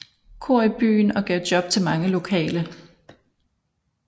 Cohr i byen og gav job til mange lokale